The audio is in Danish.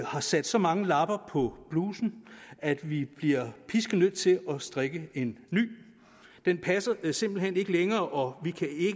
har sat så mange lapper på blusen at vi bliver nødt til at strikke en ny den passer simpelt hen ikke længere og